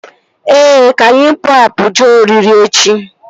Ee, ka anyị pụọ apụ jee oriri echi